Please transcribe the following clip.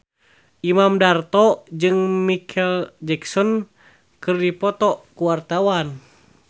Imam Darto jeung Micheal Jackson keur dipoto ku wartawan